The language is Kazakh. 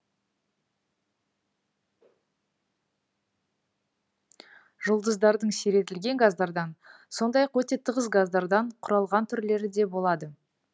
жұлдыздардың сиретілген газдардан сондай ақ өте тығыз газдардан құралған түрлері де болады